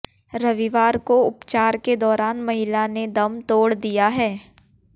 रविवार को उपचार के दौरान महिला ने दम तोड़ दिया है